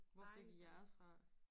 Hvor fik I jeres fra?